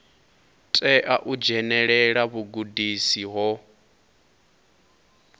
tea u dzhenelela vhugudisi ho